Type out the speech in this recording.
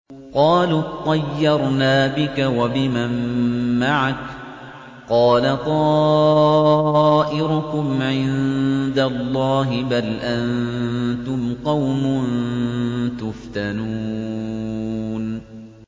قَالُوا اطَّيَّرْنَا بِكَ وَبِمَن مَّعَكَ ۚ قَالَ طَائِرُكُمْ عِندَ اللَّهِ ۖ بَلْ أَنتُمْ قَوْمٌ تُفْتَنُونَ